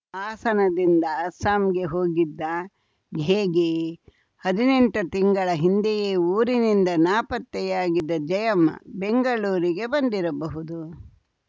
ಹಾಸನದಿಂದ ಅಸ್ಸಾಂಗೆ ಹೋಗಿದ್ದಾ ಹೇಗೆ ಹದಿನೆಂಟು ತಿಂಗಳ ಹಿಂದೆಯೇ ಊರಿನಿಂದ ನಾಪತ್ತೆಯಾಗಿದ್ದ ಜಯಮ್ಮ ಬೆಂಗಳೂರಿಗೆ ಬಂದಿರಬಹುದು